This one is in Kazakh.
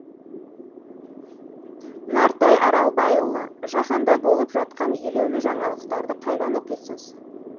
нартай аралбайұлы жаһанда болып жатқан елеулі жаңалықтарды қайдан оқисыз